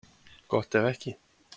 Gott ef ekki.